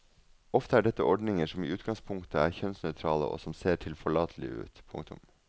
Ofte er dette ordninger som i utgangspunktet er kjønnsnøytrale og som ser tilforlatelige ut. punktum